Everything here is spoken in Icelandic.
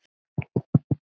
Lestu frekar Njáls sögu